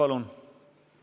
Urve Tiidus, palun!